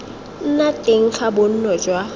nna teng ga bonno jwa